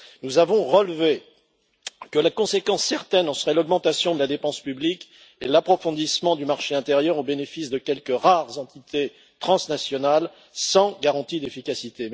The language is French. Nous avons relevé que la conséquence certaine en serait l'augmentation de la dépense publique et l'approfondissement du marché intérieur, au bénéfice de quelques rares entités transnationales, sans garantie d'efficacité.